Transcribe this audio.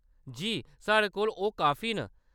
जी, साढ़े कोल ओह् काफी न।